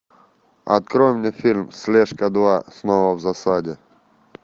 открой мне фильм слежка два снова в засаде